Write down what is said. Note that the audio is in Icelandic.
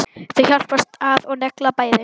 Þau hjálpast að og negla bæði.